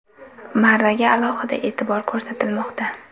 Maraga alohida e’tibor ko‘rsatilmoqda.